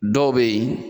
Dɔw bɛ yen